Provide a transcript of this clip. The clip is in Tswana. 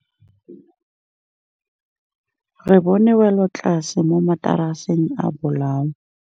Re bone wêlôtlasê mo mataraseng a bolaô.